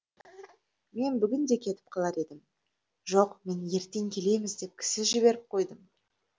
мен бүгін де кетіп қалар едім жоқ мен ертең келеміз деп кісі жіберіп қойдым